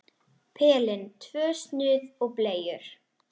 Pelinn, tvö snuð og bleiur.